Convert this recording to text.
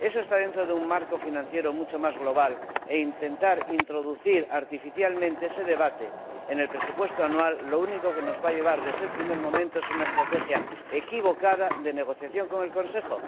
Eso está dentro de un marco financiero mucho más global e intentar introducir artificialmente ese debate en el presupuesto anual lo único que nos va a llevar desde el primer momento es a una estrategia equivocada de negociación con el Consejo.